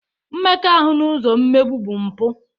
Mmekọahụ n'ụzọ mmegbu bụ mpụ.